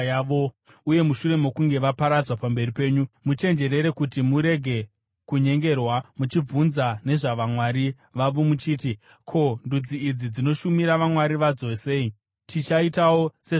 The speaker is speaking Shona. uye mushure mokunge vaparadzwa pamberi penyu, muchenjerere kuti murege kunyengerwa muchibvunza nezvavamwari vavo, muchiti, “Ko, ndudzi idzi dzinoshumira vamwari vadzo sei? Tichaitawo sezvavanoita.”